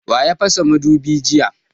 Wa ya fasa mudubin jiya?